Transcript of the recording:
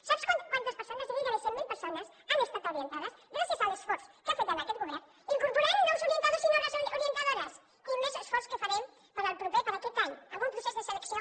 sap quantes persones gairebé cent mil persones han estat orientades gràcies a l’esforç que ha fet aquest govern incorporant nous orientadors i noves orientadores i més esforç que farem per a aquest any amb un procés de selecció